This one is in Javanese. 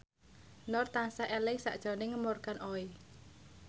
Nur tansah eling sakjroning Morgan Oey